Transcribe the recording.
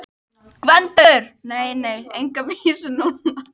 GVENDUR: Nei, nei, enga vísu núna.